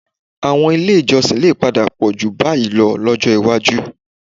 Àwọn ilé ìjọsìn lè padà pọ̀ síi jù báyìí lọ lọ́jọ́ iwájú